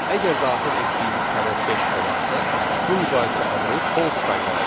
Əgər daxil etdiyimiz ədəd beş olarsa, bu müqayisə əmri false qaytaracaq.